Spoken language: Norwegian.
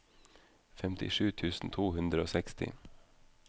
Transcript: femtisju tusen to hundre og seksti